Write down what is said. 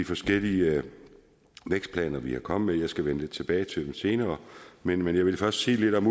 forskellige vækstplaner vi er kommet med skal jeg vende tilbage til lidt senere men jeg vil først sige lidt om